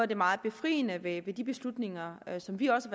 det meget befriende ved de beslutninger som vi også